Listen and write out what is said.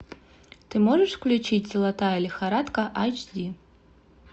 ты можешь включить золотая лихорадка айч ди